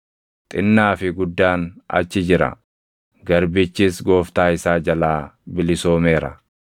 Xinnaa fi guddaan achi jira; garbichis gooftaa isaa jalaa bilisoomeera.